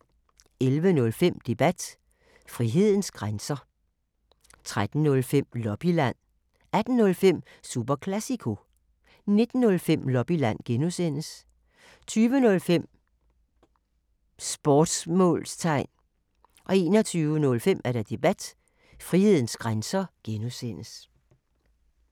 11:05: Debat: Frihedens grænser 13:05: Lobbyland 18:05: Super Classico 19:05: Lobbyland (G) 20:05: Sportsmålstegn 21:05: Debat: Frihedens grænser (G)